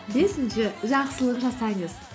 бесінші жақсылық жасаңыз